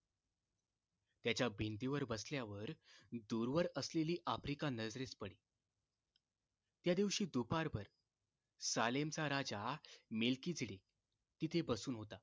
त्याच्या भिंतीवर बसल्यावर दूरवर असलेली आफ्रिका नजरेस पडी त्यादिवशी दुपारभर सालेमचा राजा नेलकिडीरी तिथे बसून होता